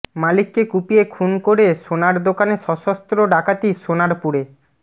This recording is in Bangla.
মালিককে কুপিয়ে খুন করে সোনার দোকানে সশস্ত্র ডাকাতি সোনারপুরে